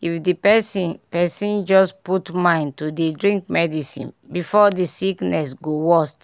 if di pesin pesin just put mind to dey drink medicine before di sickness go worst